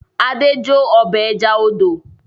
Adé jó ọbẹ̀ ẹja odò.